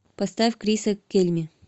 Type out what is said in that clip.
поставь криса кельми